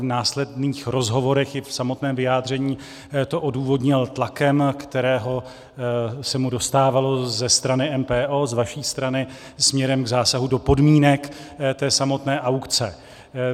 V následných rozhovorech i v samotném vyjádření to odůvodnil tlakem, kterého se mu dostávalo ze strany MPO, z vaší strany, směrem k zásahu do podmínek té samotné aukce.